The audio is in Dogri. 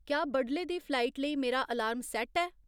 क्या बडले दी फ्लाइट लेई मेरा अलार्म सैट्ट ऐ